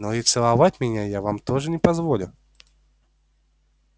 но и целовать меня я вам тоже не позволю